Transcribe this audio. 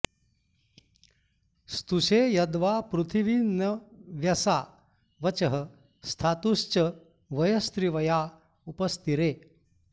स्तु॒षे यद्वां॑ पृथिवि॒ नव्य॑सा॒ वचः॑ स्था॒तुश्च॒ वय॒स्त्रिव॑या उप॒स्तिरे॑